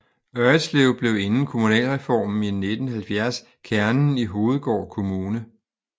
Ørridslev blev inden kommunalreformen i 1970 kernen i Hovedgård Kommune